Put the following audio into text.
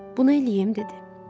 Bunu eləyim, dedi.